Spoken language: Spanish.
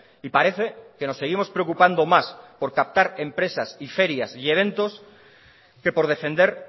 y parece que nos seguimos preocupando más por captar empresas y ferias y eventos que por defender